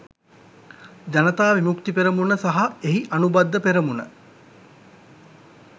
ජනතා විමුක්ති පෙරමුණ සහ එහි අනුබද්ධ පෙරමුණ